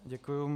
Děkuju.